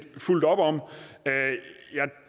fuldt op om jeg